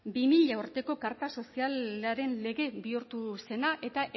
bi mila urteko karta sozialaren lege bihurtu zena eta